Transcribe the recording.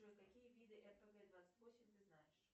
джой какие виды рпг двадцать восемь ты знаешь